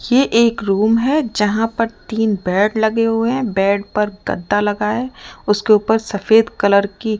ये एक रूम है जहां पर तीन बेड लगे हुए हैं बेड पर गद्दा लगा है उसके ऊपर सफेद कलर की--